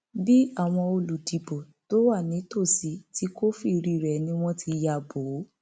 bí àwọn olùdìbò tó wà nítòsí ti kófìrí rẹ ni wọn ti ya bò ó